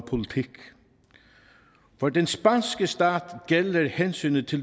politik for den spanske stat gælder hensynet til